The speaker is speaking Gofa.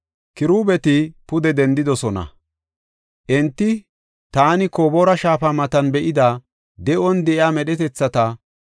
Kiruubeti pude dendidosona. Enti taani Koboora shaafa matan be7ida de7on de7iya medhetathata.